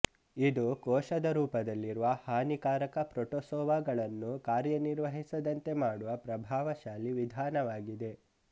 ಇದು ಕೋಶದ ರೂಪದಲ್ಲಿರುವ ಹಾನಿಕಾರಕ ಪ್ರೋಟೋಸೋವ ಗಳನ್ನು ಕಾರ್ಯನಿರ್ವಹಿಸದಂತೆ ಮಾಡುವ ಪ್ರಭಾವಶಾಲಿ ವಿಧಾನವಾಗಿದೆ